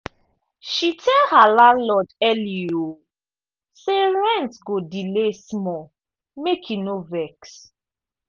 she tell her landlord early um say rent go delay small make e no vex.